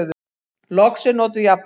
Loks er notuð jafnan: